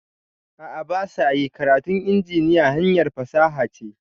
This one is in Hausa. A'a basa yi, karatun injiniya hanyar fasaha ce